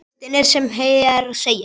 Listinn er sem hér segir